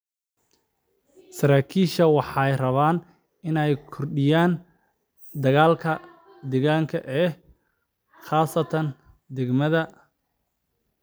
Saraakiishu waxay rabaan inay kordhiyaan dakhliga deegaanka ee khasnada degmada.